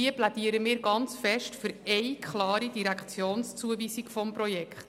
Hier plädieren wir sehr stark für eine klare Direktionszuweisung des Projekts.